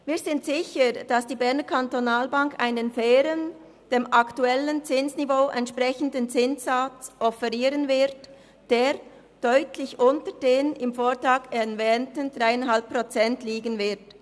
Wir sind sicher, dass die BEKB einen fairen, dem aktuellen Zinsniveau entsprechenden Zinssatz offerieren wird, der deutlich unter den im Vortrag erwähnten 3,5 Prozent liegen wird.